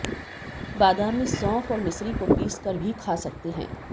बादाम में सौंफ और मिश्री को पीसकर भी खा सकते हैं